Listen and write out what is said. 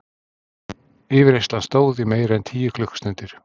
Yfirheyrslan stóð í meira en tíu klukkustundir.